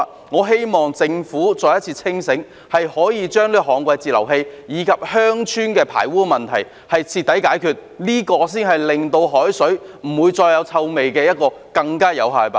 我希望政府可以再次清醒，將這個旱季截流器及鄉村的排污問題徹底解決，這才是令海水不再傳出臭味的更有效辦法。